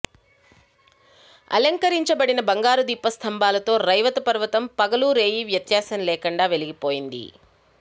అలంకరించబడిన బంగారు దీపస్తంభాలతో రైవతపర్వతం పగలు రేయి వ్యత్యాసం లేకుండా వెలిగి పోయింది